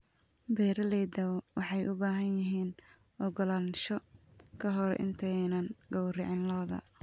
Beeralayda waxay u baahan yihiin ogolaansho ka hor intaanay gowracin lo'da.